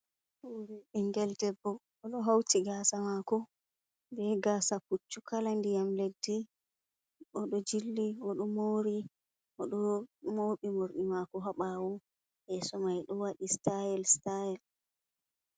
Bingel ɗebbo odo hauti gasa mako be gasa puccu kala ndiyam leddi. Odo jilli odo mori odo mobi mordi mako habawo yesomai do wadi sitayel sitayel.